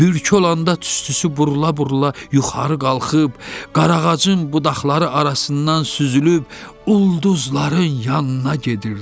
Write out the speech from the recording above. Bürk olanda tüstüsü vurula-vurula yuxarı qalxıb, qarağacın budaqları arasından süzülüb, ulduzların yanına gedirdi.